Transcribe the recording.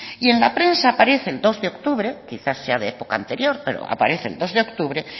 y en la prensa aparece el dos de octubre quizás sea de época anterior pero aparece el dos de octubre